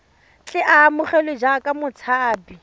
tle a amogelwe jaaka motshabi